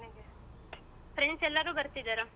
friends ಎಲ್ಲಾರು ಬರ್ತಿದರಾ?